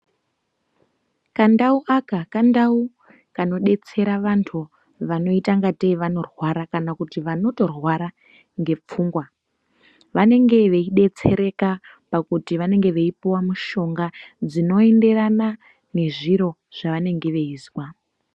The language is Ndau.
Kandau aka kandau kanodetsera vantu vanoita ingatei vanorwara kana vanotorwara ngepfungwa. Vanenge veidetsereka pakuti vanenge veipuwa mushonga dzinoenderana nezviro zvavanenge veinzwa.